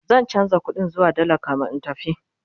zan chanza ƙuɗin zuwa dalla kamin in tafi